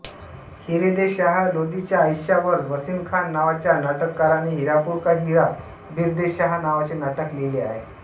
हिरदेशाह लोधीच्या आयुष्यावर वसीम खान नावाच्या नाटककाराने हीरापुर का हीरा हिरदेशाह नावाचे नाटक लिहिले आहे